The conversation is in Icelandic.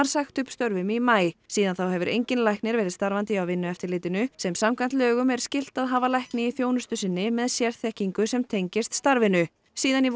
sagt upp störfum í maí síðan þá hefur enginn læknir verið starfandi hjá Vinnueftirlitinu sem samkvæmt lögum skylt að hafa lækni í þjónustu sinni með sérþekkingu sem tengist starfinu síðan í